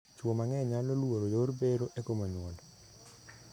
Chwo mang'eny nyalo luoro yor bero e komo nyuol.